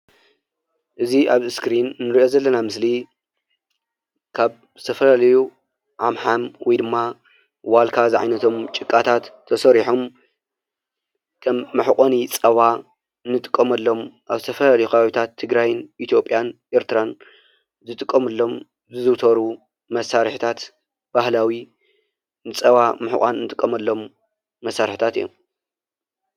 እዚ ኣብ እስክሪን እንርኦ ዘለና ምስሊ ትግራይን ኢትዮጵያን ኤርትራን